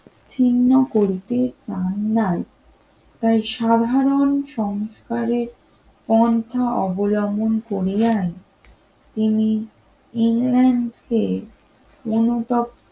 ছিন্ন করতে চায় নাই তাই সাধারণ সংস্কারের পন্থা অবলম্বন করিয়ায় তিনি ইংল্যান্ডকে অনুত